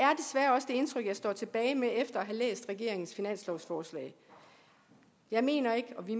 indtryk jeg står tilbage med efter at have læst regeringens finanslovsforslag jeg mener ikke og vi